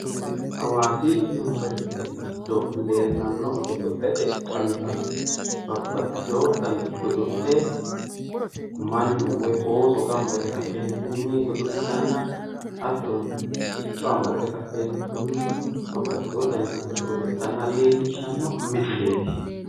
Hawaasi yuniveriste giddo leellanno godo'lete xawira babbaxxiteyo dani godo'le mannu woy ooso gamba yite ka'eentinni godo'litanna hattonni sicco amadde ka'eentinni babbaxxeyo dani godo'le godo'litanna leellishshawo misileeti.